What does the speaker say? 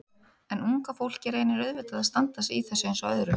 En unga fólkið reynir auðvitað að standa sig í þessu eins og öðru.